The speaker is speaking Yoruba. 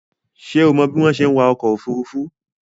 Ṣé o mọ bí wọ́n ṣe ń wa ọkọ̀ òfurufú?